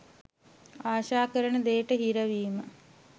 ආශා කරන දේට හිරවීම